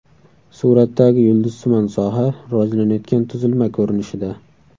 Suratdagi yulduzsimon soha rivojlanayotgan tuzilma ko‘rinishida.